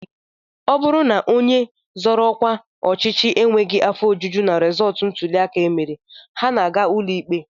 Ọ bụrụ na onye zoro ọkwa ọchịchị enweghị afọ ojuju na rịzọọtụ ntụliaka e mere, ha na-aga ụlọikpe